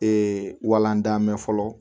Ee walandanmɛ fɔlɔ